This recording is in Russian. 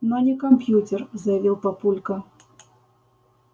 но не компьютер заявил папулька